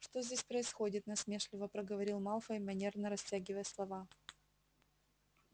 что здесь происходит насмешливо проговорил малфой манерно растягивая слова